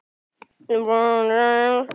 Þjóðin verður að vera virk.